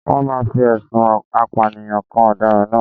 Wọ́n máa fi ẹ̀sùn apànìyàn kan ọ̀daràn náà